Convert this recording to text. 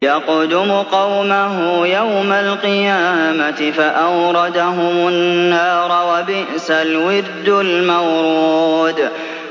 يَقْدُمُ قَوْمَهُ يَوْمَ الْقِيَامَةِ فَأَوْرَدَهُمُ النَّارَ ۖ وَبِئْسَ الْوِرْدُ الْمَوْرُودُ